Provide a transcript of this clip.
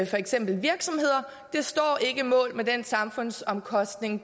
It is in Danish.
for eksempel virksomheder står ikke mål med den samfundsomkostning